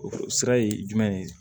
O sira ye jumɛn ye